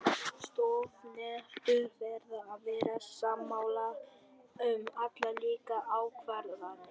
Stofnendur verða að vera sammála um allar líkar ákvarðanir.